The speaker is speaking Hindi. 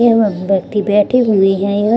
यह वह व्यक्ति बैठे हुए हैं य --